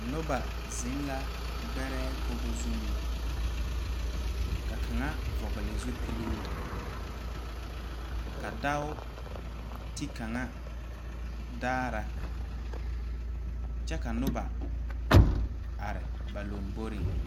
Noba zeŋ la gbɛrɛɛ koggo zuŋ ka kaŋa vɔgle zupiluu ka dao te kaŋa daara kyɛ ka noba are ba lomboreŋ.